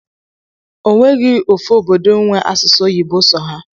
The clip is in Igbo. Onweghi ofu obodo nwe asụsụ oyibo so ha.